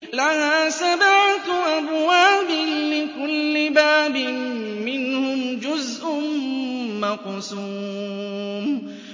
لَهَا سَبْعَةُ أَبْوَابٍ لِّكُلِّ بَابٍ مِّنْهُمْ جُزْءٌ مَّقْسُومٌ